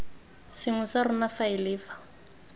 sengwe sa rona faele fa